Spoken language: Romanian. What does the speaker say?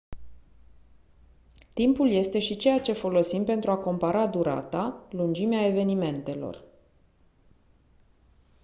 timpul este și ceea ce folosim pentru a compara durata lungimea evenimentelor